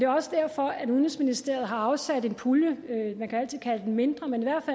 også derfor at udenrigsministeriet har afsat en pulje man kan altid kalde den mindre men i hvert